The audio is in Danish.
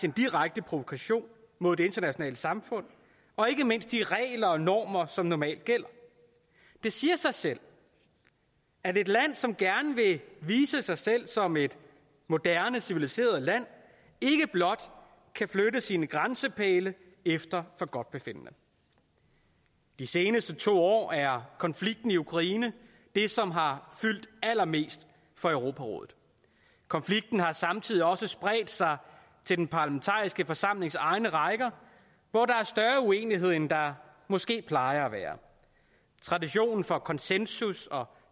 en direkte provokation mod det internationale samfund og ikke mindst de regler og normer som normalt gælder det siger sig selv at et land som gerne vil vise sig selv som et moderne civiliseret land ikke blot kan flytte sine grænsepæle efter forgodtbefindende de seneste to år er konflikten i ukraine det som har fyldt allermest for europarådet konflikten har samtidig spredt sig til den parlamentariske forsamlings egne rækker hvor der er større uenighed end der måske plejer at være traditionen for konsensus og